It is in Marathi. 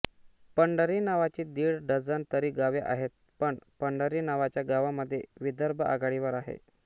पंढरी नावाची दिड डझन तरी गावे आहेत पण पंढरी नावाच्या गावांमध्ये विदर्भ आघाडीवर आहे